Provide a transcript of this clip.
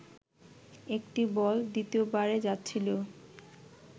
একটি বল দ্বিতীয় বারে যাচ্ছিল